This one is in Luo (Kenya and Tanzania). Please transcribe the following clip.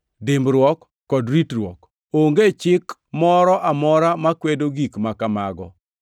dimbruok kod ritruok. Onge chik moro amora makwedo gik ma kamago.